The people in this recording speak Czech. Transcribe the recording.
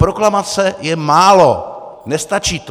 Proklamace je málo, nestačí to.